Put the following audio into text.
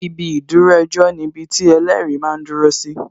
Ibi ìdúró ejọ́ ni ibiti ẹlẹ́rìí máa ń dúró si